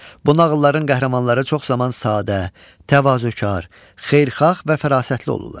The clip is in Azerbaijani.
Bu nağılların qəhrəmanları çox zaman sadə, təvazökar, xeyirxah və fərasətli olurlar.